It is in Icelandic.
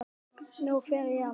Nú fer ég að hlæja.